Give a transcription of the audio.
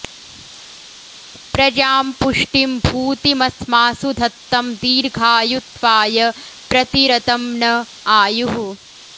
प्र॒जां पु॒ष्टिं भू॑तिम॒स्मासु॑ धत्तं दीर्घायु॒त्वाय॒ प्र ति॑रतं न॒ आयुः॑